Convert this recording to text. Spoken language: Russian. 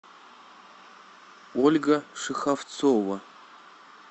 ольга шеховцова